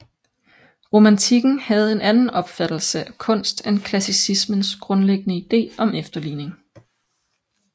Romantikken havde en anden opfattelse af kunst end klassicismens grundlæggende idé om efterligning